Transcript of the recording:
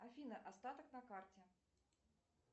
афина остаток на карте